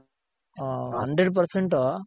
ಹಾ hundred percent